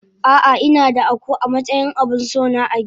Ah ah inada Akuu amatsayin abinsona agida.